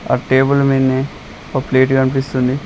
ఆ టేబుల్ మీదనే ఒక ప్లేట్ కనిపిస్తుంది.